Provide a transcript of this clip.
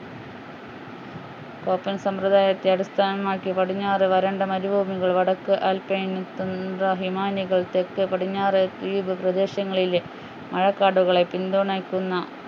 open സമ്പ്രദായത്തെ അടിസ്ഥാനമാക്കി പടിഞ്ഞാറ് വരണ്ട മരുഭൂമികളും വടക്ക് ആൽപൈൻ തുന്ദ്ര ഹിമാനികൾ തെക്കു പടിഞ്ഞാറ് ദ്വീപു പ്രദേശങ്ങളിലെ മഴക്കാടുകളെ പിന്തുണയ്ക്കുന്ന